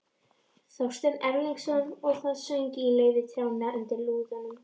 Þorsteins Erlingssonar, og það söng í laufi trjánna undir úðanum.